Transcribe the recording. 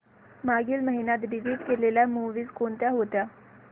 मागील महिन्यात डिलीट केलेल्या मूवीझ कोणत्या होत्या